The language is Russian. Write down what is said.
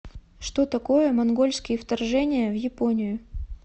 что такое монгольские вторжения в японию